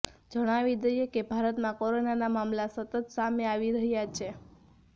જણાવી દઈએ કે ભારતમાં કોરોનાના મામલા સતત સામે આવી રહ્યા ચે